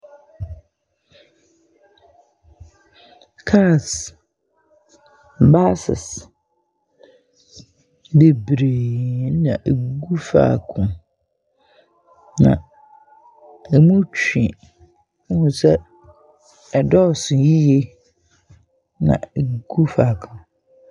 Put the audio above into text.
Kaas baases bebree ɛna egu faako na emu twe na ɛdɔɔso yie na ɛgu faako.